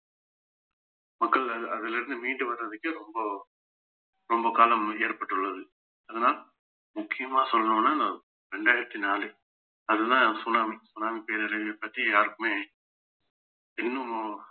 மக்கள் அ~ அதுல இருந்து மீண்டு வர்றதுக்கு ரொம்ப ரொம்ப காலம் ஏற்பட்டுள்ளது அதனால் முக்கியமா சொல்லணும்னா இரண்டாயிரத்தி நாலு அதுதான் சுனாமி சுனாமி பேரறிவு பற்றி யாருக்குமே இன்னும்